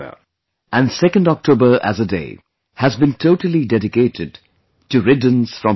And 2nd October as a day has been totally dedicated to riddance from plastic